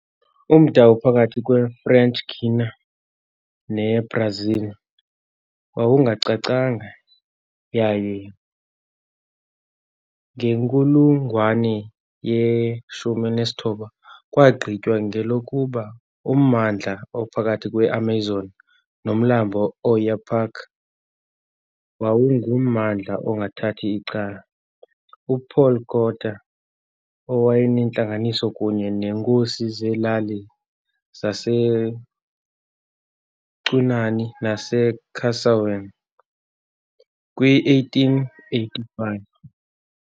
Umda ophakathi kweFrench Guiana neBrazil wawungacacanga, yaye ngenkulungwane ye-19, kwagqitywa kwelokuba ummandla ophakathi kweAmazon noMlambo iOyapock wawungummandla ongathath' icala. UPaul Quartier wayenentlanganiso kunye neenkosi zelali zaseCunani naseCarsewenne kwi-1885.